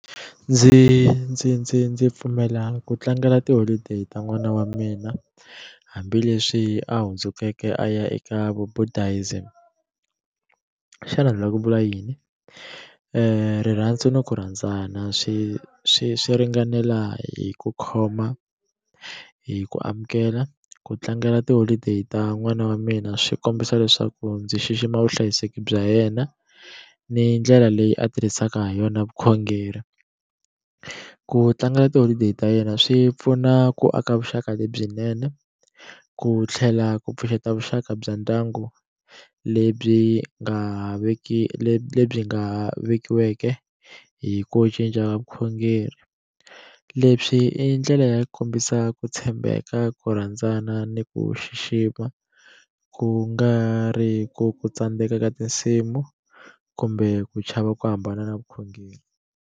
Ndzi ndzi ndzi ndzi pfumela ku tlangela tiholideyi ta n'wana wa mina hambileswi a hundzukeke a ya eka vu Buddhism xana ni la ku vula yini rirhandzu ni ku rhandzana swi swi swi ringanela hi ku khoma hi ku amukela ku tlangela tiholideyi ta n'wana wa mina swi kombisa leswaku ndzi xixima vuhlayiseki bya yena ni ndlela leyi a tirhisaka ha yona vukhongeri ku tlangela tiholideyi ta yena swi pfuna ku aka vuxaka lebyinene ku tlhela ku pfuxeta vuxaka bya ndyangu lebyi nga veki lebyi nga vekiweke hi ku cinca vukhongeri leswi i ndlela ya ku kombisa ku tshembeka ku rhandzana ni ku xixima ku nga ri ku ku tsandzeka ka tinsimu kumbe ku chava ku hambana na vukhongeri.